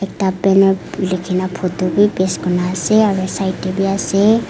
ta banner likhina photo bi paste kurina ase aro side tey wi ase.